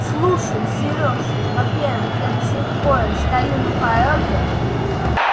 слушай серёж во-первых я до сих пор стою на пороге